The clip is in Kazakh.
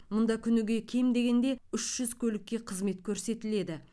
мұнда күніге кем дегенде үш жүз көлікке қызмет көрсетіледі